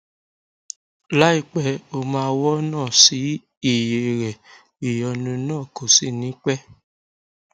láìpẹ o máa wọnà sí iye rẹ ìyónú náà kò sì ní pẹ